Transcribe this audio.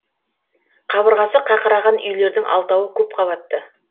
қабырғасы қақыраған үйлердің алтауы көп қабатты